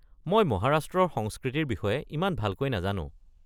মই মহাৰাষ্ট্ৰৰ সংস্কৃতিৰ বিষয়ে ইমান ভালকৈ নাজানো।